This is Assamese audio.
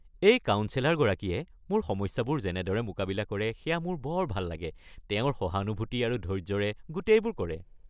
এই কাউন্সেলৰগৰাকীয়ে মোৰ সমস্যাবোৰ যেনেদৰে মোকাবিলা কৰে সেয়া মোৰ বৰ ভাল লাগে। তেওঁ সহানুভূতি আৰু ধৈৰ্য্যৰে গোটেইবোৰ কৰে।